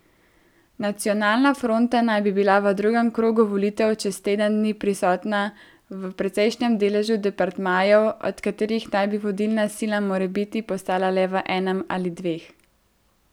Nacionalna fronta naj bi bila v drugem krogu volitev čez teden dni prisotna v precejšnjem deležu departmajev, od katerih naj bi vodilna sila morebiti postala le v enem ali dveh.